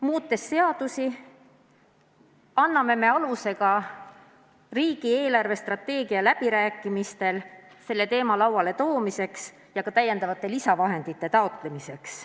Muutes seadusi, anname me aluse ka riigi eelarvestrateegia läbirääkimistel selle teema lauale toomiseks ja lisavahendite taotlemiseks.